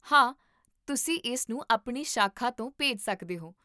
ਹਾਂ, ਤੁਸੀਂ ਇਸਨੂੰ ਆਪਣੀ ਸ਼ਾਖਾ ਤੋਂ ਭੇਜ ਸਕਦੇ ਹੋ